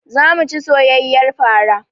Zamu ci soyayyar fara